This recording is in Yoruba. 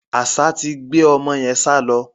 Àṣá ti gbé ọmọ yẹn sálọ.